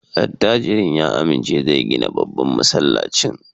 Attajirin ya amince zai gina babban masallacin.